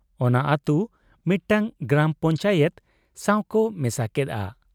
ᱚᱱᱟ ᱟᱹᱛᱩ ᱢᱤᱫᱴᱟᱝ ᱜᱨᱟᱢ ᱯᱚᱧᱪᱟᱭᱮᱛ ᱥᱟᱣᱠᱚ ᱢᱮᱥᱟ ᱠᱮᱫ ᱟ ᱾